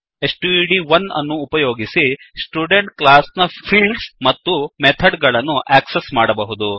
ಸ್ಟಡ್1 ಅನ್ನು ಉಪಯೋಗಿಸಿ student class ನ ಫೀಲ್ಡ್ಸ್ ಮತ್ತು ಮೆಥಡ್ ಗಳನ್ನು ಆಕ್ಸೆಸ್ ಮಾಡಬಹುದು